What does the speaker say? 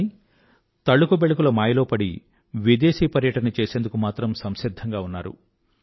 కానీ తళుకుబెళుకుల మాయలో పడి విదేశీ పర్యటన చేసేందుకు మాత్రం సంసిధ్ధంగా ఉన్నారు